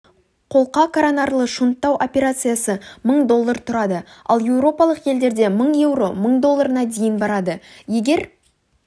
қолқа-коронарлы шунттау операциясы мың доллар тұрады ал еуропалық елдерде мың еуро мың долларына дейін барады егер